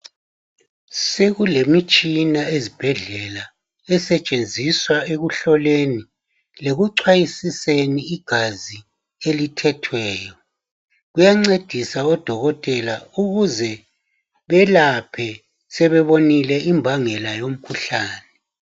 sekulemitshina ezibhedlela esetshenziswa ekuhloleni lekucwayisisweni igazi elithethweyo kuyancedisa odokotela ukuze belaphe sebebonile imbangela yomkhuhlane